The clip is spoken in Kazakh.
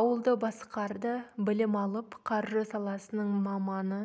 ауылды басқарды білім алып қаржы саласының маманы